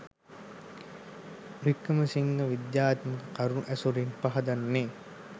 වික්‍රමසිංහ විද්‍යාත්මක කරුණු ඇසුරින් පහදන්නේ.